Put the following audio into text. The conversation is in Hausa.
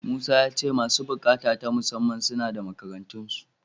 Musa ya ce masu buƙata ta musamman, suna da makarantarsu.